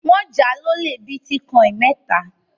Wọ́n jà á lólè bítíkọ́ìn mẹ́ta.